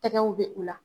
Tɛgɛw bɛ u la